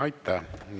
Aitäh!